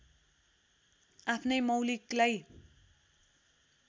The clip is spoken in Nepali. आफ्नै मौलिकलाई